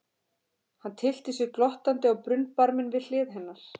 Hann tyllti sér glottandi á brunnbarminn við hlið hennar.